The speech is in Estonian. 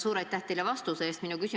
Suur aitäh teile vastuse eest!